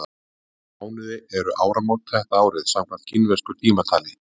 Í hvaða mánuði eru áramót þetta árið, samkvæmt kínversku tímatali?